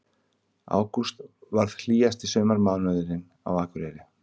Ágúst varð hlýjasti sumarmánuðurinn á Akureyri